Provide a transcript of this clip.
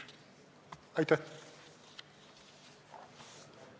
Aitäh!